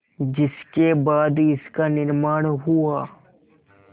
जिसके बाद इसका निर्माण हुआ